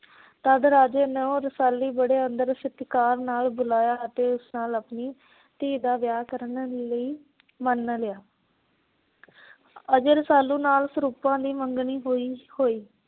ਤਦ ਰਾਜੇ ਨੂੰ ਰਸਾਲੀ ਬੜੇ ਆਦਰ ਸਤਿਕਾਰ ਨਾਲ ਬੁਲਾਇਆ ਤੇ ਉਸ ਨਾਲ ਆਪਣੀ ਧੀ ਦਾ ਵਿਆਹ ਕਰਨ ਲਈ ਮੰਨ ਲਿਆ। ਅਜੇ ਰਸਾਲੂ ਨਾਲ ਸਰੂਪਾਂ ਦੀ ਮੰਗਣੀ ਹੋਈ ਹੋਈ।